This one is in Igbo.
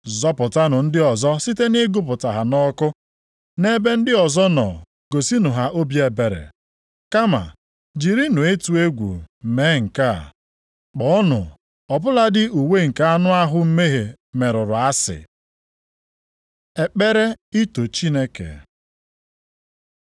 Zọpụtanụ ndị ọzọ site nʼịgụpụta ha nʼọkụ. Nʼebe ndị ọzọ nọ gosinụ ha obi ebere, kama jirinụ ịtụ egwu mee nke a, kpọọnụ ọ bụladị uwe nke anụ ahụ mmehie merụrụ asị. Ekpere ito Chineke